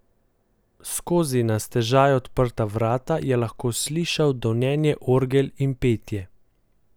Skozi na stežaj odprta vrata je lahko slišala donenje orgel in petje.